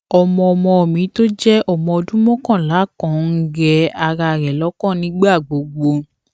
ọmọ ọmọ mi tó jé ọmọ ọdún mókànlá kan ń rẹ ara rè lókàn nígbà gbogbo